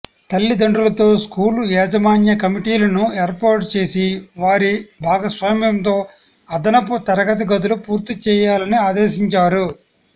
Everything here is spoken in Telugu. తల్లిదండ్రులతో స్కూలు యాజమాన్య కమిటీలను ఏర్పాటు చేసి వారి భాగస్వామ్యంతో అదనపు తరగతి గదులు పూర్తి చేయాలని ఆదేశించారు